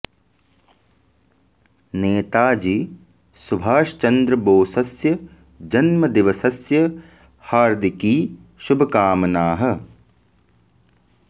नेता जी सुभाष चन्द्र बोसस्य जन्मदिवसस्य हर्दिकी शुभ कामनाः